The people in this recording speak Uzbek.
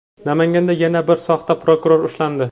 Namanganda yana bir soxta prokuror ushlandi.